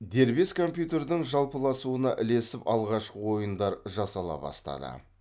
дербес компьютердің жалпыласуына ілесіп алғашқы ойындар жасала бастады